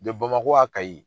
Bamako Kayi